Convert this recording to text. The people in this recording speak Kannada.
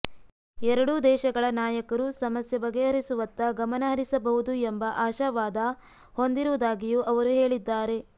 ಎರಡೂ ದೇಶಗಳ ನಾಯಕರು ಸಮಸ್ಯೆ ಬಗೆಹರಿಸುವತ್ತ ಗಮನಹರಿಸಬಹುದು ಎಂಬ ಆಶಾವಾದ ಹೊಂದಿರುವುದಾಗಿಯೂ ಅವರು ಹೇಳಿದ್ದಾರೆ